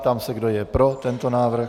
Ptám se, kdo je pro tento návrh.